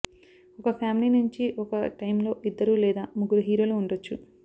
ఒక ఫ్యామిలీ నుంచి ఒక టైమ్లో ఇద్దరు లేదా ముగ్గురు హీరోలు ఉండొచ్చు